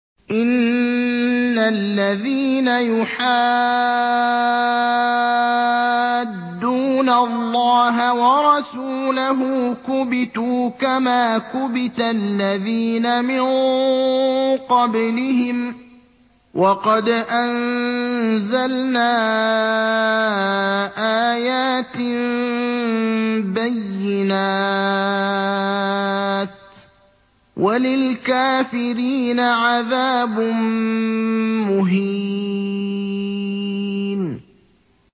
إِنَّ الَّذِينَ يُحَادُّونَ اللَّهَ وَرَسُولَهُ كُبِتُوا كَمَا كُبِتَ الَّذِينَ مِن قَبْلِهِمْ ۚ وَقَدْ أَنزَلْنَا آيَاتٍ بَيِّنَاتٍ ۚ وَلِلْكَافِرِينَ عَذَابٌ مُّهِينٌ